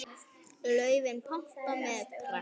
Laufin pompa með pragt.